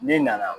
N'i nana